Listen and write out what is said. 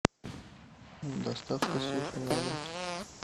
доставка суши на дом